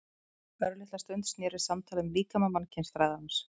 Örlitla stund snerist samtalið um líkama mannkynsfræðarans.